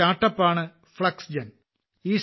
ഒരു startup ആണ് Flexgen